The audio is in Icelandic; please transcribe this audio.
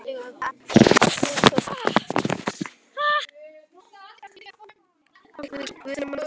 Ef hann vill fá filmuna þá verður hann að fá hana.